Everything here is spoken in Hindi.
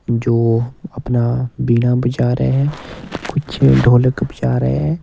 जो अपना बीना बजा रहे हैं कुछ ढोलक बजा रहे हैं।